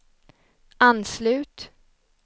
anslut